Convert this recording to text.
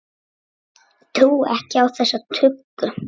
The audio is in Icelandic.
Trúi ekki á þessa tuggu.